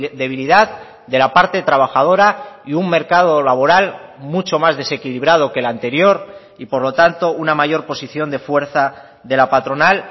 debilidad de la parte trabajadora y un mercado laboral mucho más desequilibrado que el anterior y por lo tanto una mayor posición de fuerza de la patronal